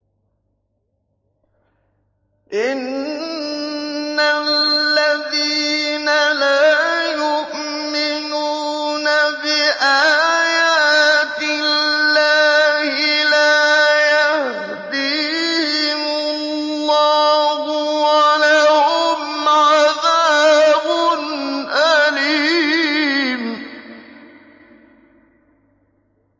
إِنَّ الَّذِينَ لَا يُؤْمِنُونَ بِآيَاتِ اللَّهِ لَا يَهْدِيهِمُ اللَّهُ وَلَهُمْ عَذَابٌ أَلِيمٌ